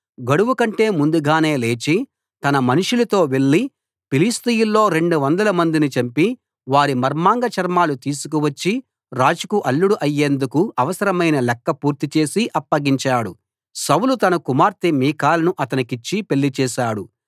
గడువుకంటే ముందుగానే లేచి తన మనుషులతో వెళ్ళి ఫిలిష్తీయుల్లో 200 మందిని చంపి వారి మర్మాంగ చర్మాలు తీసుకువచ్చి రాజుకు అల్లుడు అయ్యేందుకు అవసరమైన లెక్క పూర్తిచేసి అప్పగించాడు సౌలు తన కుమార్తె మీకాలును అతనికిచ్చి పెళ్లి చేశాడు